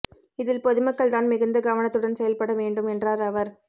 இதில் பொதுமக்கள் தான் மிகுந்த கவனத்துடன் செயல்பட வேண்டும் என்றார் அவர்